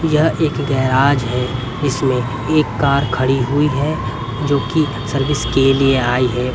यह एक गैराज है इसमें एक कार खड़ी हुई है जोकि सर्विस के लिए आई है।